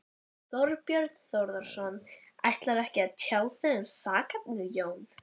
Þorbjörn Þórðarson: Ætlarðu ekkert að tjá þig um sakarefnið, Jón?